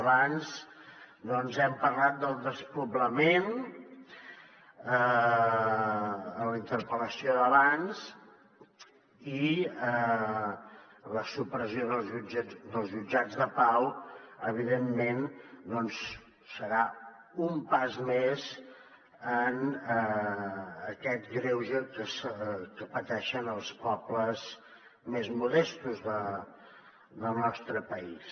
abans hem parlat del despoblament en la interpel·lació d’abans i la supressió dels jutjats de pau evidentment serà un pas més en aquest greuge que pateixen els pobles més modestos del nostre país